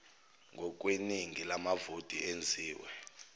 ngokweningi lamavoti enziwe